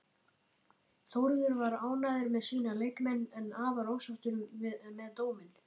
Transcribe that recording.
Þórður var ánægður með sína leikmenn, en afar ósáttur með dóminn.